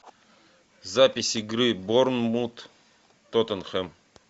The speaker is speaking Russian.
запись игры борнмут тоттенхэм